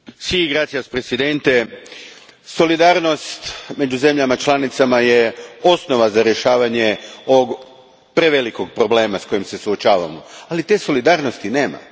Gospodine predsjedniče, solidarnost među zemljama članicama je osnova za rješavanje ovog prevelikog problema s kojim se suočavamo, ali te solidarnosti nema.